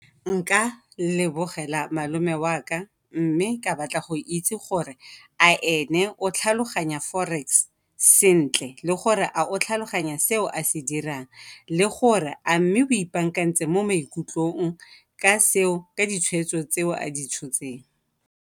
Nka lebogela malome wa ka mme ka batla go itse gore a ene o tlhaloganya forex sentle le gore a o tlhaloganya seo a se dirang le gore a mme o ipaakantse mo maikutlong ka ditshweetso tseo a di tshotseng.